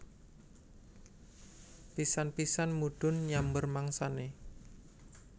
Pisan pisan mudhun nyamber mangsane